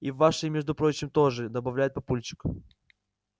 и вашей между прочим тоже добавляет папульчик